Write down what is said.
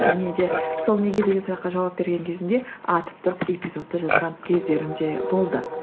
және де сол неге деген сұраққа жауап берген кезімде атып тұрып эпизодты жазған кездерім де болды